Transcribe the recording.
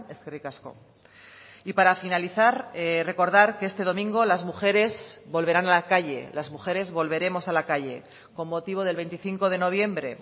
eskerrik asko y para finalizar recordar que este domingo las mujeres volverán a la calle las mujeres volveremos a la calle con motivo del veinticinco de noviembre